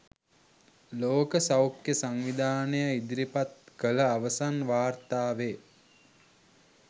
ලෝක සෞඛ්‍ය සංවිධානය ඉදිරිපත් කළ අවසන් වාර්තාවේ